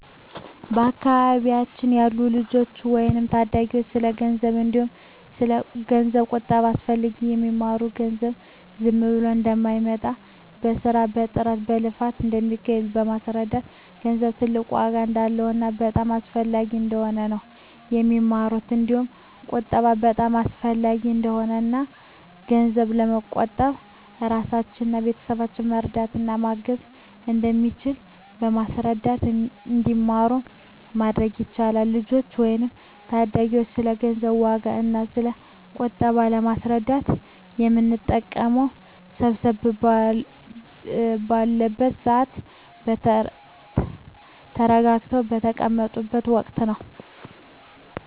በአካባቢያችን ላሉ ልጆች ወይም ለታዳጊዎች ስለ ገንዘብ እንዲሁም ስለ ገንዘብ ቁጠባ አስፈላጊነት የሚማሩት ገንዘብ ዝም ብሎ እንደማይመጣ በስራ በጥረት በልፋት እንደሚገኝ በማስረዳት ገንዘብ ትልቅ ዋጋ እንዳለውና በጣም አስፈላጊ እንደሆነ ነው የሚማሩት እንዲሁም ቁጠባ በጣም አሰፈላጊ እንደሆነና እና ገንዘብ በመቆጠብ እራስንና ቤተሰብን መርዳት እና ማገዝ እንደሚቻል በማስረዳት እንዲማሩ ማድረግ ይቻላል። ልጆችን ወይም ታዳጊዎችን ስለ ገንዘብ ዋጋ እና ስለ ቁጠባ ለማስረዳት የምንጠቀመው ሰብሰብ ባሉበት ስዓት እና ተረጋግተው በተቀመጡት ወቀት ነው።